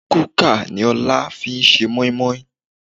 Kúkà ni Ọlá fi ṣe moimoi